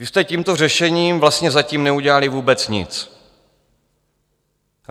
Vy jste tímto řešením vlastně zatím neudělali vůbec nic.